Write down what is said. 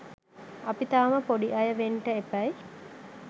අපි තාම පොඩි අය වෙන්ට එපැයි